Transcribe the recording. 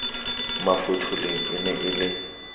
mafotholeng e ne e le